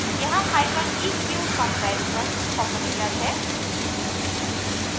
यहां hyphen eq comparison operator है